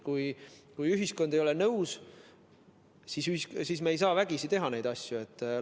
Kui ühiskond ei ole nõus, siis me ei saa vägisi neid asju teha.